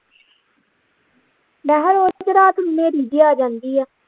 ਮੈਂ ਹਾ ਰੋਜ ਕਿਤੇ ਰਾਤ ਨੂੰ ਹਨੇਰੀ ਜੇ ਆ ਜਾਂਦੀ ਆ